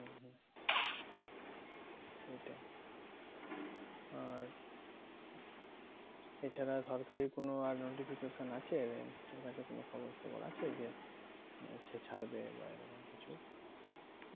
আর এছাড়া সরকারি কোনো আর notification আছে? তোর কাছে কোনো খবর সবর আছে যে চ ছাড়বে এবার এরকম কিছু